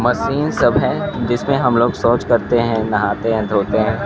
Machine सब हैं जिसमें हमलोग सौच करते हैं नहाते हैं धोते हैं।